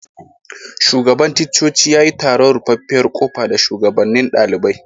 Shugaban ticcoci ya yi taron ruffafiyar kofa da shugabanen dalibain.